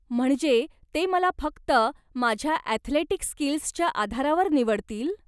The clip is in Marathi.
म्हणजे ते मला फक्त माझ्या अॅथलेटिक स्कील्सच्या आधारावर निवडतील?